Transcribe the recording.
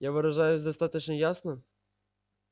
я выражаюсь достаточно ясно